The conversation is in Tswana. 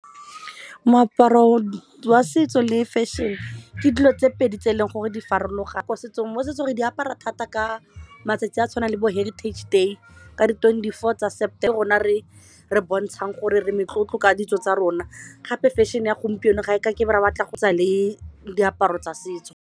Moaparo wa setso le fashion ke dilo tse pedi tse e leng gore di farologane ko setsong, mo setsong re di apara thata ka matsatsi a tshwanang le bo heritage day ka di-twenty-four tsa September re bontshang gore re metlotlo ka ditso tsa rona gape fashion e ya gompieno ga e ka ke be ya batla go tsa le diaparo tsa setso.